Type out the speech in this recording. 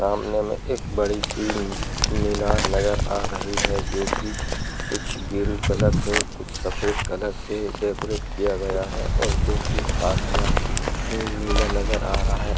सामने में एक बड़ी सी मीनार नजर आ रही है जो कि कुछ गेरू कलर से और कुछ सफेद कलर से डेकोरेट किया गया है और जो कि आसमान नीला नजर आ रहा है।